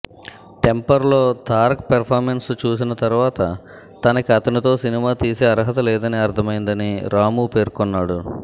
టెంపర్లో Tarak performance చూసిన తర్వాత తనకి అతనితో సినిమా తీసే అర్హత లేదని అర్థమైందని రాము పేర్కొన్నాడు